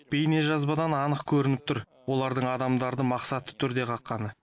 бейнежазбадан анық көрініп тұр олардың адамдарды мақсатты түрде қаққаны